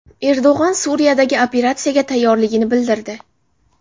Erdo‘g‘on Suriyadagi operatsiyaga tayyorligini bildirdi.